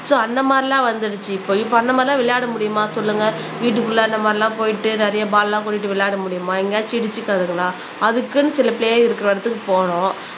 so அந்த மாதிரி எல்லாம் வந்துருச்சு இப்ப இப்ப அந்த மாதிரி எல்லாம் விளையாட முடியுமா சொல்லுங்க வீட்டுக்குள்ள நம்ம எல்லாம் போயிட்டு நிறைய பால்லாம் கொட்டிட்டு விளையாட முடியுமா எங்கேயாவது இடிச்சுக்காதுங்களா அதுக்குன்னு சில பிலே இருக்கிற இடத்துக்கு போகணும்